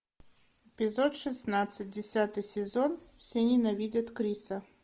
эпизод шестнадцать десятый сезон все ненавидят криса